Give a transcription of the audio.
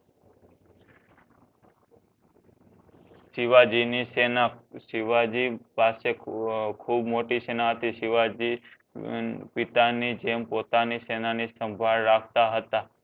શિવજી ની શેના શિવજી પાસે ખુ ખૂબ મોટિ સેના હતી શિવજી હમ પિતા ની જેમ પોતાની શેના ની સાંભડ રાખતા હતા